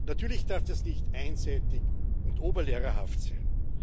Natürlich darf das nicht einseitig und oberlehrerhaft sein.